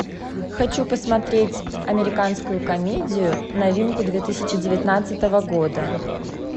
хочу посмотреть американскую комедию новинку две тысячи девятнадцатого года